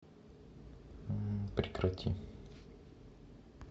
прекрати